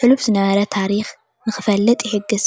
ሕሉፍ ዝነበረ ታሪክ ንክፈልጥ ይሕግዝ፡፡